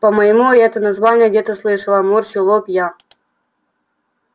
по-моему я это название где-то слышала морщу лоб я